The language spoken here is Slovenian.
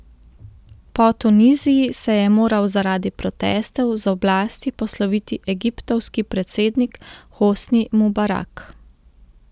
Po Tuniziji se je moral zaradi protestov z oblasti posloviti egiptovski predsednik Hosni Mubarak.